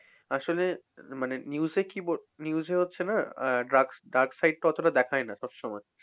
আসলে মানে news এ কি বলছে news এ হচ্ছে না আহ dark dark side টা অতটা দেখায় না সবসময়।